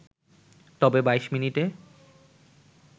তবে ২২ মিনিটে